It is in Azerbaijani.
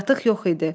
Qatıq yox idi.